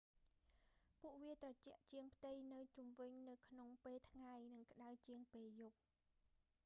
ពួកវាត្រជាក់ជាងផ្ទៃនៅជុំវិញនៅក្នុងពេលថ្ងៃ និងក្ដៅជាងពេលយប់